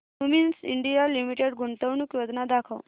Cummins India limited गुंतवणूक योजना दाखव